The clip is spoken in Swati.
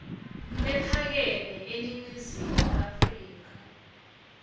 lephakeme eningizimu afrika